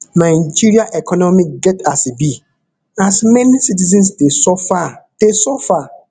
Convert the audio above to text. nigeria economy get as e be as many citizens dey suffer dey suffer